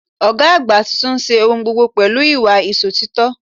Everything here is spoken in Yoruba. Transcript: Ògá àgbà tuntun n se ohun gbogbo pẹ̀lú ìwà Ìsòtítọ́